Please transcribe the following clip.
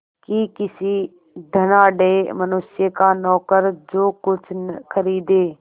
कि किसी धनाढ़य मनुष्य का नौकर जो कुछ खरीदे